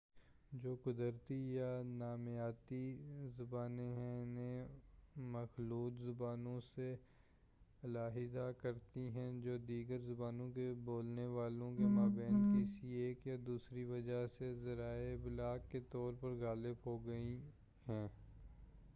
جو قدرتی یا نامیاتی زبانیں ہیں انہیں مخلوط زبانوں سے علاحدہ کرتی ہیں جو دیگر زبانوں کے بولنے والوں کے مابین کسی ایک یا دوسری وجہ سے ذرائع ابلاغ کے طور پر غالب ہو گئی ہیں